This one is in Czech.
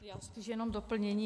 Já spíš jenom doplnění.